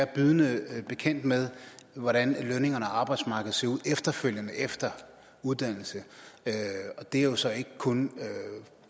bydende bekendt med hvordan lønningerne og arbejdsmarkedet ser ud efterfølgende efter uddannelsen og det er jo så ikke kun